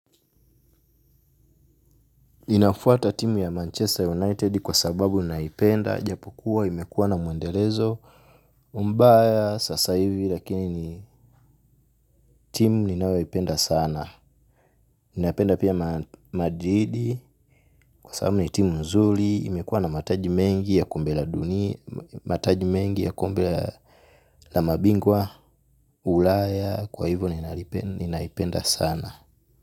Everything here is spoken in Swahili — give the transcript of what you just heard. Ninafuata timu ya Manchester United kwa sababu ninaipenda, japo kuwa imekuwa na mwendelezo, mbaya sasa hivi lakini timu ninawaipenda sana. Ninaipenda pia Madrid kwa sababu ni timu nzuli, imekuwa na mataji mengi ya kombe la duni, mataji mengi ya kumbela la mabingwa, ulaya, kwa hivo ninaipenda sana.